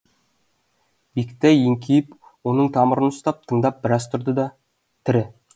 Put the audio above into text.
бектай еңкейіп оның тамырын ұстап тыңдап біраз тұрды да тірі